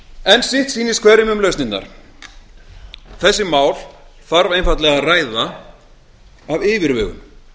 en sitt sýnist hverjum um lausnirnar þessi mál þarf einfaldlega að ræða af yfirvegun